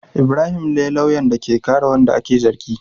Ibrahim ne lauyan da ke kare wanda ake zargin.